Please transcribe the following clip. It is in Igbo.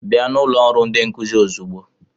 Bịa na ụlọ ọrụ ndi nkuzi ozugbo!